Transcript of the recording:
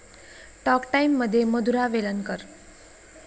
talk टाइममध्ये मधुरा वेलणकर